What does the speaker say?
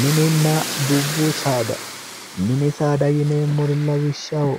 Mininna dubbu saada, mini saada yineemmori lawishshaho,